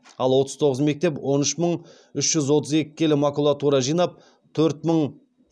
ал отыз тоғыз мектеп он үш мың үш жүз отыз екі келі макулатура жинап